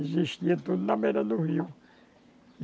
Existia tudo na beira do rio.